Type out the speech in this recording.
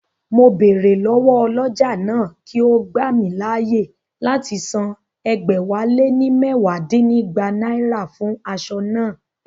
Mo bèrè lọ́wọ́ ọlọ́jà náà kí ó gbà mí láyè láti san ẹgbẹ̀wáléní mẹwa dínígba náírà fún aṣọ naa